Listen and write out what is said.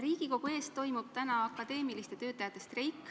Riigikogu ees toimub täna akadeemiliste töötajate streik.